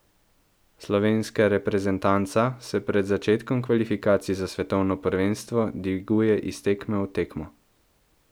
Slovenska reprezentanca se pred začetkom kvalifikacij za svetovno prvenstvo dviguje iz tekme v tekmo.